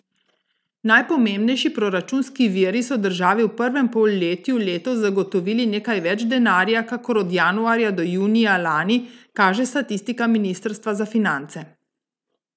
Najpomembnejši proračunski viri so državi v prvem polletju letos zagotovili nekaj več denarja kakor od januarja do junija lani, kaže statistika ministrstva za finance.